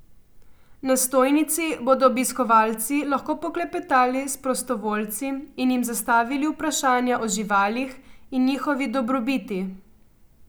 Na stojnici bodo obiskovalci lahko poklepetali s prostovoljci in jim zastavili vprašanja o živalih in njihovi dobrobiti.